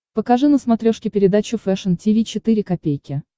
покажи на смотрешке передачу фэшн ти ви четыре ка